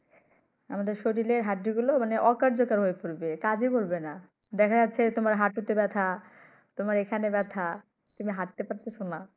আমাদের শরীরের হাড্ডি গুলো মানে অকার্যকর হয়ে পরবে কাজেই করবে না দেখা যাচ্ছে তোমার হাঁটু তে ব্যথা তোমার এখানে ব্যথা হাটতে পারতেছো না।